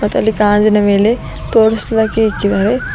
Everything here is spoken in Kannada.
ಮತ್ತು ಅಲ್ಲಿ ಗಾಜಿನ ಮೇಲೆ ತೋರಿಸಿಲಕ್ಕೆ ಇಕ್ಕಿದ್ದಾರೆ.